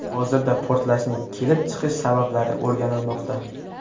Hozirda portlashning kelib chiqish sabablari o‘rganilmoqda.